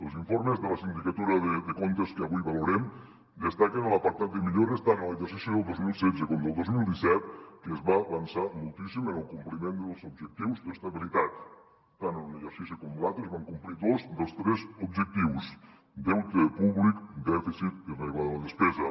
els informes de la sindicatura de comptes que avui valorem destaquen a l’apartat de millores tant en l’exercici del dos mil setze com del dos mil disset que es va avançar moltíssim en el compliment dels objectius d’estabilitat tant en un exercici com en l’altre es van complir dos dels tres objectius deute públic dèficit i regla de la despesa